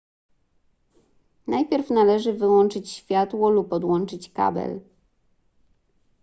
najpierw należy wyłączyć światło lub odłączyć kabel